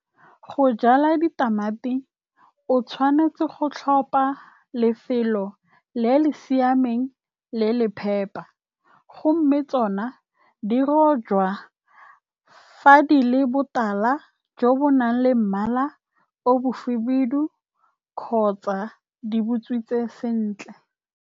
Go jala ditamati, o tshwanetse go tlhopa lefelo le le siameng le le phepa, tsone di rojwa fa di le botala jo bo nang le mmala o mo khibidu, kgotsa di botswetse sentle.